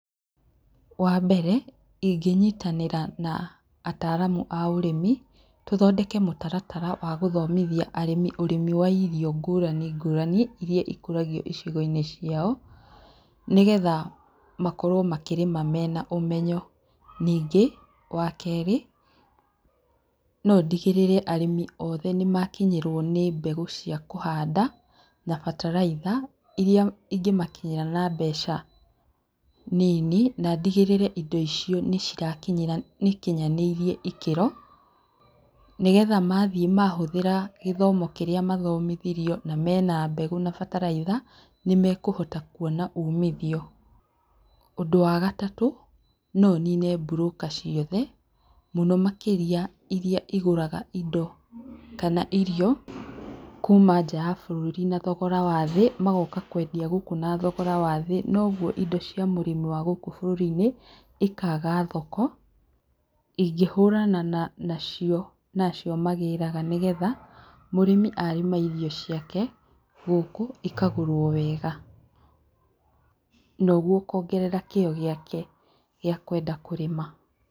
Wa mbere, ingĩnyitanĩra na ataaramu a ũrĩmi tũthondeke mũtaratara wa gũthomitia arĩmi ũrĩmi wa irio ngũrani ngũrani iria ikũragio icigo-inĩ ciao, nĩgetha makorwo makĩrĩma mena ũmenyo. Ningĩ, wa kerĩ, no ndigĩrĩre arĩmi othe nĩ makinyĩrwo nĩ mbegũ cia kũhanda na bataraitha, iria ingĩ makinyĩra na mbeca nini na ndigĩrĩre indo icio nĩ cirakinyĩra, nĩ ikinyanĩirie ĩkĩro. Nĩgetha maathiĩ mahũthĩra gĩthomo kĩrĩa mathomithirio, na mena mbegũ na bataraitha, nĩ mekũhota kwona uumithio. Ũndũ wa gatatũ, no nine broker ciothe, mũno makĩria, iria igũraga indo kana irio kuuma nja ya bũrũri na thogora wa thĩ, magoka kwendia gũkũ na thogora wa thĩ, noguo indo cia mũrĩmi wa gũkũ bũrũri-inĩ ikaaga thoko. Ingĩhũrana nacio, na acio magĩraga nĩgetha mũrĩmi arĩma irio ciake gũkũ, ikagũrwo wega, na ũguo ũkongerera kĩo gĩake gĩa kwenda kũrĩma.